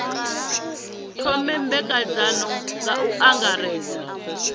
thome nymbedzano nga u angaredza